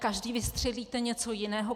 Každý vystřelíte něco jiného.